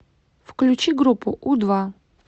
включи группу у два